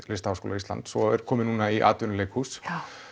Listaháskóla Íslands og er komið núna í atvinnuleikhús